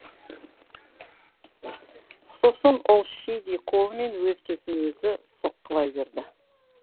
сосын ол шидей қолымен өз төсін өзі соққылай берді